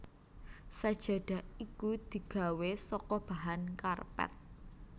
Sajadah iku digawé saka bahan karpet